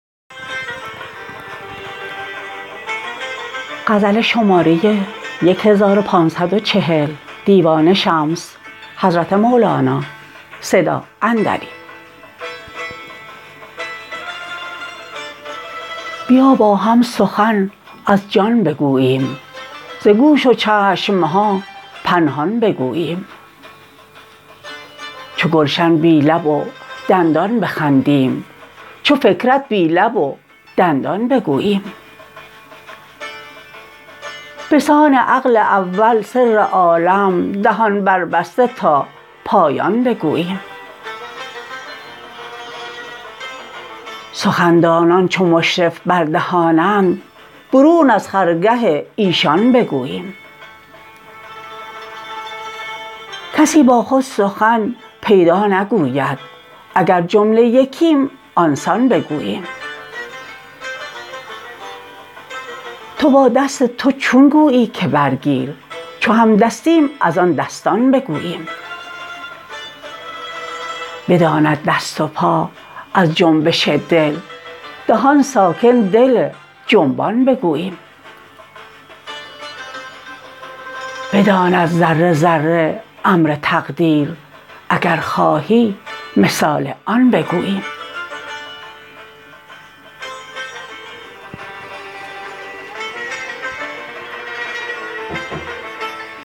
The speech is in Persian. بیا با هم سخن از جان بگوییم ز گوش و چشم ها پنهان بگوییم چو گلشن بی لب و دندان بخندیم چو فکرت بی لب و دندان بگوییم به سان عقل اول سر عالم دهان بربسته تا پایان بگوییم سخندانان چو مشرف بر دهانند برون از خرگه ایشان بگوییم کسی با خود سخن پیدا نگوید اگر جمله یکیم آن سان بگوییم تو با دست تو چون گویی که برگیر چو همدستیم از آن دستان بگوییم بداند دست و پا از جنبش دل دهان ساکن دل جنبان بگوییم بداند ذره ذره امر تقدیر اگر خواهی مثال آن بگوییم